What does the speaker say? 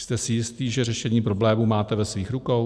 Jste si jistý, že řešení problémů máte ve svých rukou?